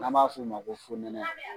N'a b'a f'o ma ko fonɛnɛ